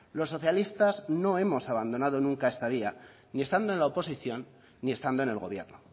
los socialistas no hemos abandonado nunca esta vía ni estando en la oposición ni estando en el gobierno